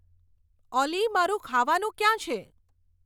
ઓલી મારું ખાવાનું ક્યાં છે